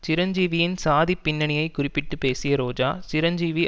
சிரஞ்சீவியின் சாதிப் பின்னணியைக் குறிப்பிட்டு பேசிய ரோஜா சிரஞ்சீவி